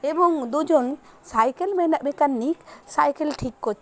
এবং দুজন সাইকেল মেনা মেকানিক সাইকেল ঠিক করছে।